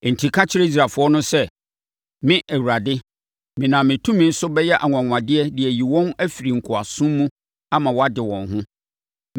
“Enti, ka kyerɛ Israelfoɔ no sɛ, ‘Me, Awurade, menam me tumi so bɛyɛ anwanwadeɛ de ayi wɔn afiri nkoasom mu ama wɔade wɔn ho.